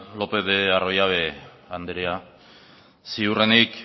lópez de arroyabe anderea ziurrenik